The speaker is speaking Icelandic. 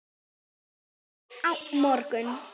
Kannski á morgun.